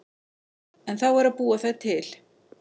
En þá er að búa þær til.